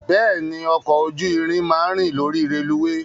Bẹ́ẹ̀ni, ọkọ̀ ojú irin máa ń rìn lórí rélùweè.